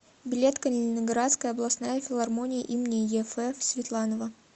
билет калининградская областная филармония имени еф светланова